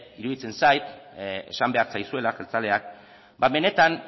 iruditzen zait esan behar zaizuela jeltzaleak benetan